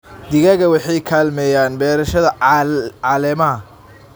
Digaagga waxay kaalmeeyaan beerashada caleemaha.